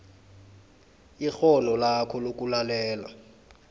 ikghono lakho lokulalela